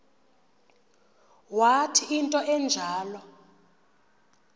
wathi into enjalo